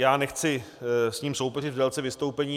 Já nechci s ním soupeřit v délce vystoupení.